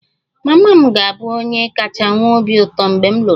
Mama m ga-abụ onye kacha nwee obi ụtọ mgbe m lụrụ di